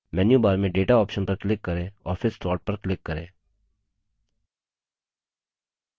menu bar में data option पर click करें और फिर sort पर click करें